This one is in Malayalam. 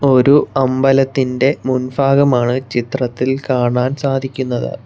ഒരു അമ്പലത്തിന്റെ മുൻ ഫാഗമാണ് ചിത്രത്തിൽ കാണാൻ സാധിക്കുന്നത്.